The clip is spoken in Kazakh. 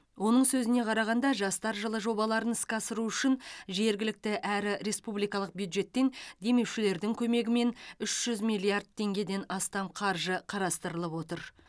оның сөзіне қарағанда жастар жылы жобаларын іске асыру үшін жергілікті әрі республикалық бюджеттен демеушілердің көмегімен үш жүз миллиард теңгеден астам қаржы қарастырылып отыр